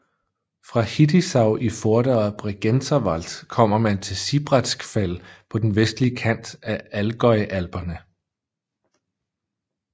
Fra Hittisau i Vorderer Bregenzerwald kommer man til Sibratsgfäll på den vestlige kant af Allgäu Alperne